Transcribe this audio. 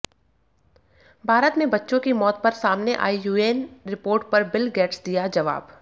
भारत में बच्चों की मौत पर सामने आई यूएन रिपोर्ट पर बिल गेट्स दिया जवाब